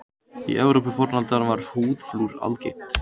Í Evrópu fornaldar var húðflúr algengt.